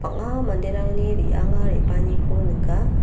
bang·a manderangni re·anga re·baaniko nika.